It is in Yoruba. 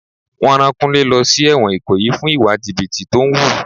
Wọn rán Kúnlé lọ sí èwòn ikoyi fún ìwà jìbìtì tó ń wù.